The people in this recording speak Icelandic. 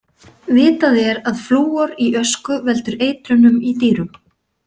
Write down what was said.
Vitað er að flúor í ösku veldur eitrunum í dýrum.